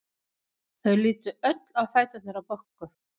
Þau litu öll á fæturna á Boggu.